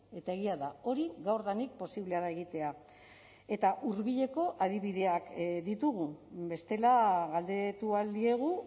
eta egia da hori gaurdanik posiblea da egitea eta hurbileko adibideak ditugu bestela galdetu ahal diegu